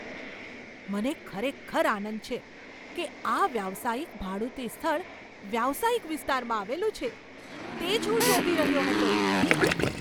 મને ખરેખર આનંદ છે કે આ વ્યવસાયિક ભાડુતી સ્થળ વ્યવસાયિક વિસ્તારમાં આવેલું છે. તે જ હું શોધી રહ્યો હતો.